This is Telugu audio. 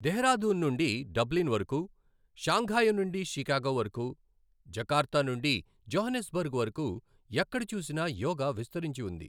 దెహ్రాదూన్ నుండి డబ్లిన్ వరకు, షాన్ఘయి నుండి షికాగో వరకు, జకార్తా నుండి జోహానిస్బర్గ్ వరకు ఎక్కడ చూసినా యోగా విస్తరించి వుంది.